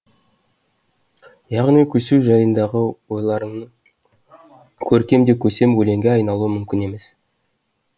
яғни көсеу жайындағы ойларыңның көркем де көсем өлеңге айналуы мүмкін емес